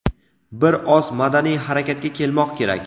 Bir oz madaniy harakatga kelmoq kerak.